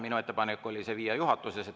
Minu ettepanek oli see viia juhatusse.